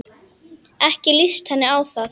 Ekki líst henni á það.